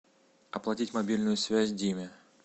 оплатить мобильную связь диме